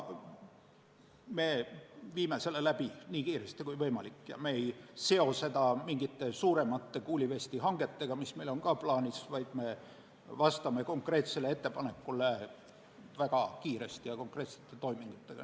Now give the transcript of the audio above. Me teeme seda nii kiiresti kui võimalik ega seo seda mingite suuremate kuulivestihangetega, mis on meil samuti plaanis, vaid vastame sellele ettepanekule väga kiiresti ja konkreetsete toimingutega.